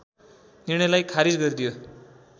निर्णयलाई खारिज गरिदियो